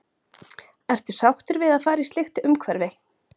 Ertu sáttur við að fara í slíkt umhverfi?